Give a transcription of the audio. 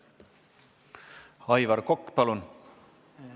Aivar Kokk, palun!